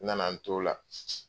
N nana n t'o la